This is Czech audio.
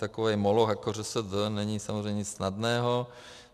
Takový moloch jako ŘSD není samozřejmě nic snadného.